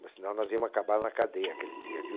Mas senão nós íamos acabar na cadeia aquele dia, viu?